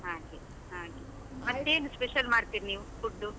ಹಾಗೆ ಹಾಗೆ, ಏನ್ special ಮಾಡ್ತೀರಿ ನೀವು, food?